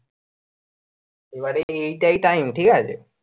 এবারে এই তাই time ঠিকাছে।